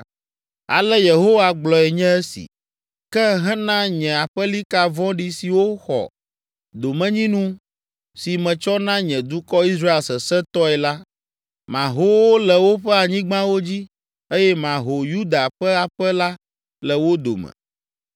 Ale Yehowa gblɔe nye si, “Ke hena nye aƒelika vɔ̃ɖi siwo xɔ domenyinu si metsɔ na nye dukɔ Israel sesẽtɔe la, maho wo le woƒe anyigbawo dzi eye maho Yuda ƒe aƒe la le wo dome.